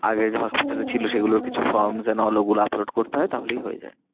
আগে যে hospital এ ছিল সেগুলোর কিছু from ওগুলো upload করতে হয় তাহলেই হয়ে যায়।